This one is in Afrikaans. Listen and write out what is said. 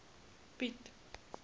piet